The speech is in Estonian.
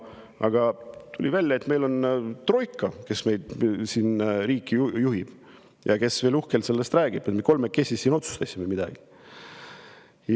Aga tuli välja, et meil on troika, kes riiki juhib ja veel uhkelt räägib, et me kolmekesi siin otsustasime midagi.